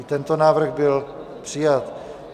I tento návrh byl přijat.